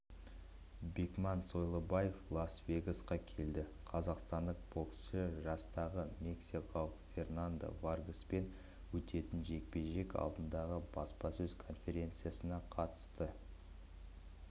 бекман сойлыбаев лас-вегасқа келді қазақстандық боксшы жастағы мексикалық фернандо варгаспен өтетін жекпе-жек алдындағы баспасөз конференциясына қатысады